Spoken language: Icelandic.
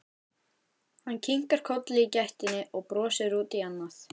Hann kinkar kolli í gættinni og brosir út í annað.